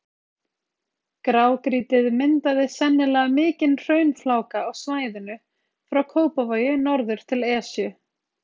Grágrýtið myndaði sennilega mikinn hraunfláka á svæðinu frá Kópavogi norður til Esju.